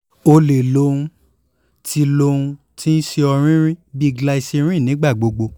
o le lo ohun ti lo ohun ti n ṣe ọrinrinrin bi glycerin nigbagbogbo